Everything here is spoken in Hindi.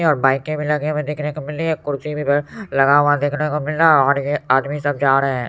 और बाइके भी लगी हुई देखने को मिल रही है कुर्सी भी लगा हुआ देखने को मिल रहा है और ये आदमी सब जा रहे हैं।